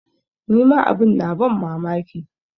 Ni ma abin na ban mamaki.